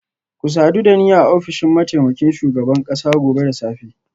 Ku sadu da ni a ofishin mataimakin shugaban kasa gobe da safe